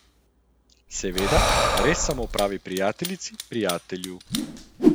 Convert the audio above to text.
Seveda res samo pravi prijateljici, prijatelju.